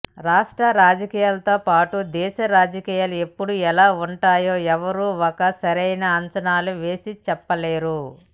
రాష్ట్ర రాజకీయాలతో పాటు దేశ రాజకీయాలు ఎప్పుడు ఎలా ఉంటాయో ఎవ్వరు ఒక సరైన అంచనాలు వేసి చెప్పలేరు